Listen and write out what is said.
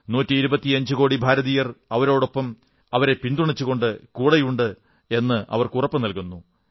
നൂറ്റി ഇരുപത്തിയഞ്ചുകോടി ഭാരതീയർ അവരോടൊപ്പം അവരെ പിന്തുണച്ചുകൊണ്ട് കൂടെയുണ്ട് എന്ന് അവർക്ക് ഉറപ്പുനൽകുന്നു